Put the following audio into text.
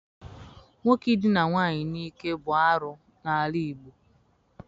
Nwoke Idina nwaanyị n'ike bụ arụ n'ala Igbo.